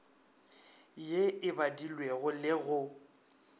ye e badilwego le go